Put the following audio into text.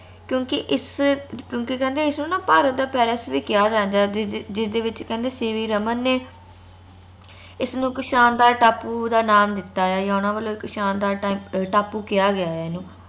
ਕਿਉਂਕਿ ਇਸ ਕਿਉਂਕਿ ਕਹਿੰਦੇ ਇਸ ਨੂੰ ਨਾ ਭਾਰਤ ਦਾ ਪੈਰਿਸ ਵੀ ਕਿਹਾ ਜਾਂਦਾ ਜਿਸ ਦੇ ਜਿਸ ਦੇ ਵਿਚ ਕਹਿੰਦੇ CV ਰਮਨ ਨੇ ਇਸਨੂੰ ਇਕ ਸ਼ਾਨਦਾਰ ਟਾਪੂ ਦਾ ਨਾਂ ਦਿੱਤਾ ਆ ਯਾ ਓਹਨਾ ਵੱਲੋਂ ਸ਼ਾਨਦਾਰ ਟਾਪੂ ਕਿਹਾ ਗਿਆ ਇਹਨੂੰ